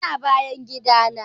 Tana bayan gidana.